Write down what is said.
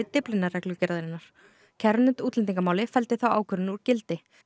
Dyflinnarreglugerðarinnar kærunefnd útlendingamála felldi þá ákvörðun úr gildi